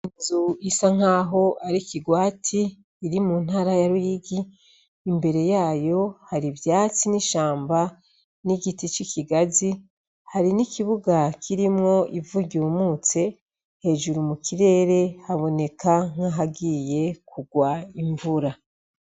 Inzu isa nk'aho ari kirwati iri mu ntara ya ruyigi imbere yayo hari ivyatsi n'ishamba n'igiti c'ikigazi hari n'ikibuga kirimwo ivu ryumutse hejuru mu kirere haboneka nk'ahagiye kugwa imvura.